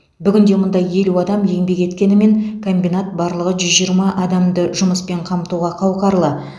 бүгінде мұнда елу адам еңбек еткенімен комбинат барлығы жүз жиырма адамды жұмыспен қамтуға қауқарлы